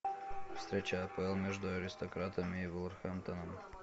встреча апл между аристократами и вулверхэмптоном